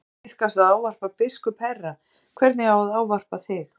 Nú hefur tíðkast að ávarpa biskup herra, hvernig á að ávarpa þig?